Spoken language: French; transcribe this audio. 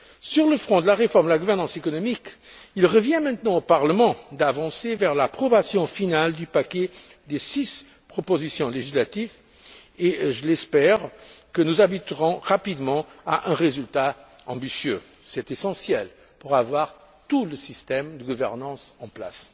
Sur le front de la réforme de la gouvernance économique, il revient maintenant au Parlement d'avancer vers l'approbation finale du paquet des six propositions législatives et j'espère que nous aboutirons rapidement à un résultat ambitieux. C'est essentiel pour avoir tout le système de gouvernance en place.